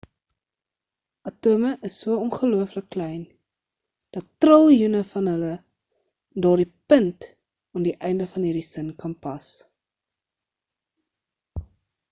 atome is so ongelooflik klein dat triljoene van hulle in daardie punt aan die einde van hierdie sin kan pas